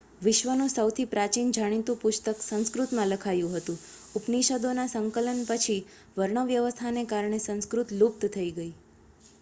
વિશ્વનું સૌથી પ્રાચીન જાણીતું પુસ્તક સંસ્કૃતમાં લખાયું હતું ઉપનિષદોના સંકલન પછી વર્ણવ્યવસ્થાને કારણે સંસ્કૃત લુપ્ત થઈ ગઈ